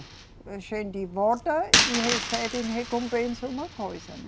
A gente vota e recebe recompensa uma coisa, né?